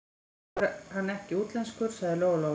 Þá er hann ekkert útlenskur, sagði Lóa Lóa.